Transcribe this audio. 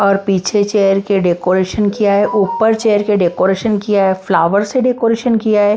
और पीछे चेयर के डेकोरेशन किया है ऊपर चेयर के डेकोरेशन किया है फ्लावर से डेकोरेशन किया है।